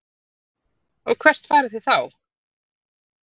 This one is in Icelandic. Gísli: Og hvert farið þið þá?